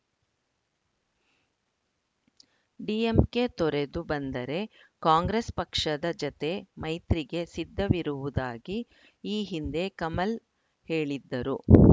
DMK ತೊರೆದು ಬಂದರೆ ಕಾಂಗ್ರೆಸ್‌ ಪಕ್ಷದ ಜತೆ ಮೈತ್ರಿಗೆ ಸಿದ್ಧವಿರುವುದಾಗಿ ಈ ಹಿಂದೆ ಕಮಲ್‌ ಹೇಳಿದ್ದರು